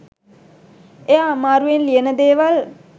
එයා අමාරුවෙන් ලියන දේවල්